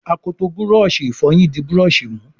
akọtọ Búrọ̀ọ̀ṣì ìfọyín dì Búrọ̀ọ̀ṣì mú.